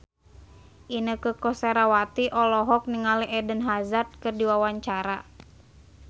Inneke Koesherawati olohok ningali Eden Hazard keur diwawancara